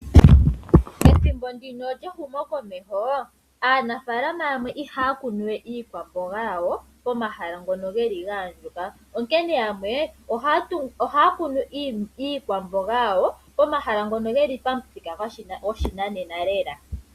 Pethimbo ndino lyehumokomeho Aanafalama yamwe ihaya kunu we iikwamboga yawo momahala ngono geli ga andjuka onkene yamwe ohaya kunu iikwamboga yawo pomahala ngono geli pamuthika goshinanena lela.